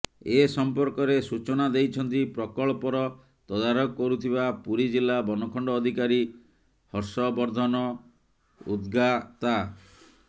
ଏ ସଂପର୍କ ରେ ସୂଚନା ଦେଇଛନ୍ତି ପ୍ରକଳ୍ପର ତଦାରଖ କରୁଥିବା ପୁରୀ ଜିଲ୍ଲା ବନଖଣ୍ଡ ଅଧିକାରୀ ହର୍ଷବର୍ଦ୍ଧନ ଉଦ୍ଗାତା